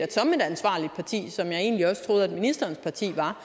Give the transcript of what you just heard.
ansvarligt parti som jeg egentlig også troede ministerens parti var